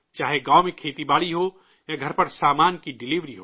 چاہے گاؤں میں کھیتی باڑی ہو یا گھر پر سامان کی ڈیلیوری ہو